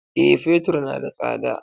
Eh, Fetur na da tsada.